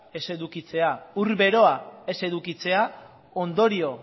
ez edukitzea edota ur beroa ez edukitzea ondorio